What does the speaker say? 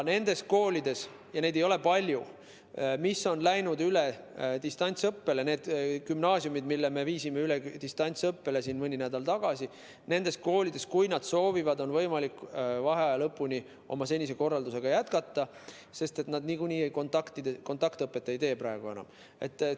Nendes koolides – neid ei ole palju –, mis on läinud üle distantsõppele, nendes gümnaasiumides, mille me viisime üle distantsõppele mõni nädal tagasi, on, kui nad soovivad, võimalik vaheaja lõpuni senise korraldusega jätkata, sest seal niikuinii kontaktõpet praegu enam ei ole.